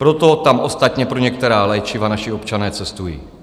Proto tam ostatně pro některá léčiva naši občané cestují.